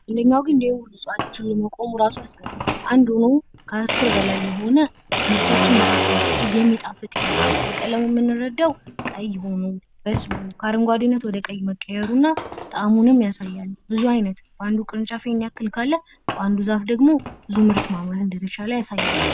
አንድ ሆኖ ከአስር በላይ የሆነ ምርቶችን ይዟል። እጅግ የሚጣፍጥ ይመስላል። ከቀለሙ የምንረዳው ቀይ ሆኖ በስሎ ከአረንጓዴነት ወደቀይ መቀየሩና ጠአሙንም ያሳያል። ብዙ ዓይነት በአንዱ ቅርንጫፍ ይሄን ያክል ካለ በአንዱ ዛፍ ደግሞ ብዙ ምርት ማምረት እንደተቻለ ያሳያል።